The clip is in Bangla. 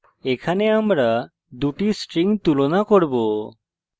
এখানে দুটি strings তুলনা করব